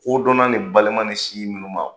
Kodɔnna ni balima ni sinji minnu ma